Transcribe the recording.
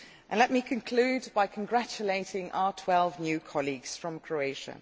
Let me conclude by congratulating our 12 new colleagues from Croatia.